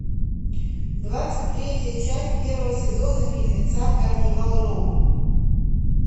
двадцать третья часть первого сезона фильмеца карнивал роу